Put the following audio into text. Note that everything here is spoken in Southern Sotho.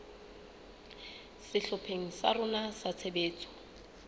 sehlopheng sa rona sa tshebetso